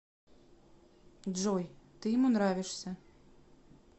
джой ты ему нравишься